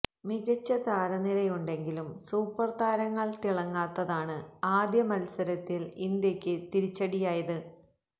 മികച്ച താരനിരയുണ്ടെങ്കിലും സൂപ്പര് താരങ്ങള് തിളങ്ങാത്തതാണ് ആദ്യ മത്സരത്തില് ഇന്ത്യക്ക് തിരിച്ചടിയായത്